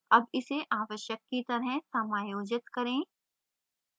अब इसे आवश्यक की तरह समायोजित करें